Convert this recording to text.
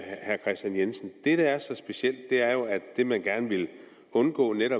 herre kristian jensen i det der er så specielt er jo at det man gerne ville undgå ved